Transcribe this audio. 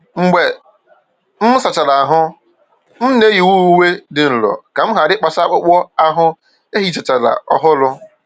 Mgbe m sachara ahụ́, m na-eyi uwe dị nro ka m ghara ịkpasu akpụkpọ ahụ e hichachara ọhụrụ.